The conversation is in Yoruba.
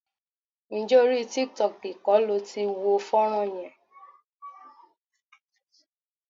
Ǹjẹ́ orí tiktok kọ́ lo ti wo fọ́nrán yẹn?